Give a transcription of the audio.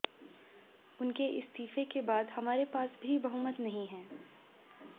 उनके इस्तीफे के बाद हमारे पास भी बहुमत नहीं है